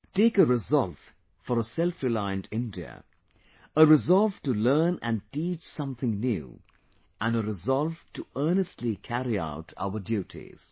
Take a resolve for a Self reliant India, a resolve to learn and teach something new and a resolve to earnestly carry out our duties